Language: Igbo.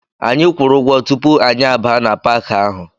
Anyị kwuru ụgwọ tupu anyị abaa na Paaki ahụ.